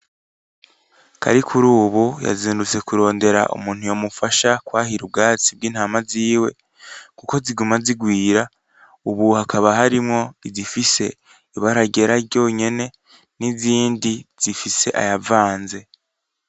Karikurubu yazindutse kurondera umuntu yomufasha kwahira ubwatsi bwintama ziwe kuko ziguma zigwira ubu hakaba harimwo izifise ibara ryera ryonyene nizindi zifise ayavanze